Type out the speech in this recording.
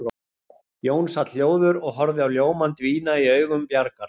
Jón sat hljóður og horfði á ljómann dvína í augum Bjargar.